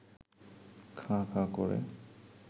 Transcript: খাঁ খাঁ করে